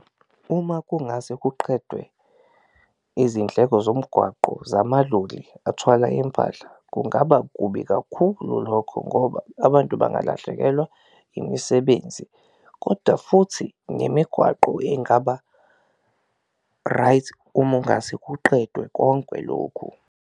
Uma kungase kuqedwe izindleko zomgwaqo zamaloli athwala impahla kungaba kubi kakhulu lokho ngoba abantu bangalahlekelwa imisebenzi, koda futhi nemigwaqo engaba-right uma ungase kuqedwe konke lokhu.